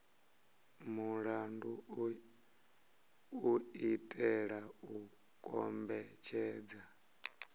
mulandu u itela u kombetshedza